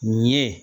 Nin ye